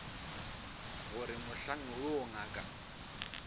go re mohlang woo ngaka